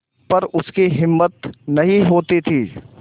पर उसकी हिम्मत नहीं होती थी